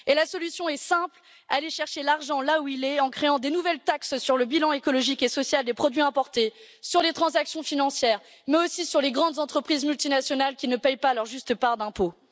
La solution est simple aller chercher l'argent là où il est, en créant de nouvelles taxes sur le bilan écologique et social des produits importés, sur les transactions financières, mais aussi sur les grandes entreprises multinationales qui ne paient pas leur juste part d'impôts.